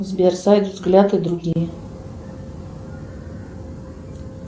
сбер сайт взгляд и другие